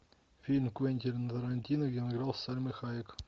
фильм квентина тарантино где он играл с сальмой хайек